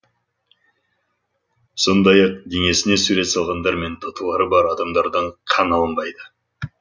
сондай ақ денесіне сурет салғандар мен татулары бар адамдардан қан алынбайды